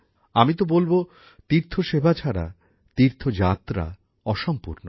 আমি তো বলব তীর্থসেবা ছাড়া তীর্থযাত্রা অসম্পূর্ণ